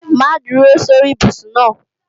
Má dúró sórí ibùsùn náà!